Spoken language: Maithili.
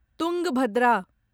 तुङ्गभद्रा